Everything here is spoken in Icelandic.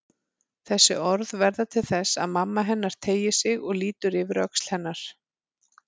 Þessi orð verða til þess að mamma hennar teygir sig og lítur yfir öxl hennar.